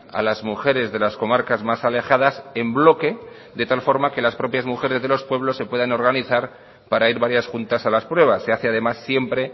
a las mujeres de las comarcas más alejadas en bloque de tal forma que las propias mujeres de los pueblos se puedan organizar para ir varias juntas a las pruebas se hace además siempre